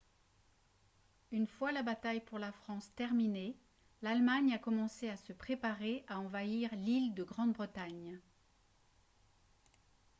une fois la bataille pour la france terminée l'allemagne a commencé à se préparer à envahir l'île de grande-bretagne